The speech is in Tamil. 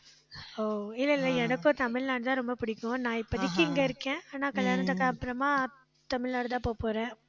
ஓ, இல்லை, இல்லை எனக்கும் தமிழ்நாடுதான் ரொம்ப பிடிக்கும். நான் இப்போதைக்கு இங்க இருக்கேன். ஆனா, கல்யாணத்துக்கு அப்புறமா தமிழ்நாடுதான் போகப் போறேன்